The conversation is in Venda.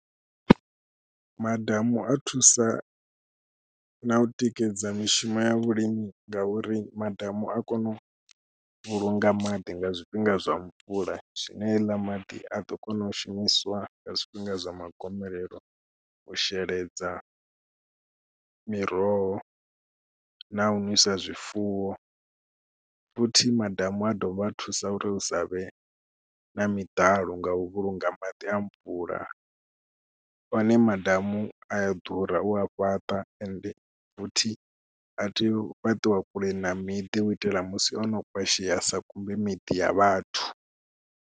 Madamu a thusa na u tikedza mishumo ya vhulimi ngauri madamu a kone u vhulunga maḓi nga zwifhinga zwa mvula zwine heiḽa maḓi a ḓo kona u shumiswa nga zwifhinga zwa magomelelo u sheledza miroho na u ṅwisa zwifuwo. Futhi madamu a dovha a thusa uri hu sa vhe na miḓalo nga u vhulunga maḓi a mvula, one madamu a ya ḓura u a fhaṱa ende futhi a tea u fhaṱiwa kule na miḓi u itela musi ono kwasheya a sa kumbe miḓi ya vhathu.